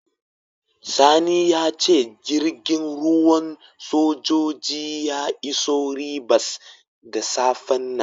Sani ya ce jirgin ruwan sojoji ya iso Ribas da safen nan.